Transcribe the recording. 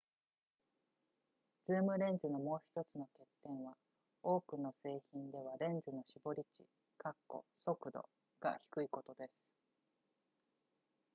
ズームレンズのもう1つの欠点は多くの製品ではレンズの絞り値速度が低いことです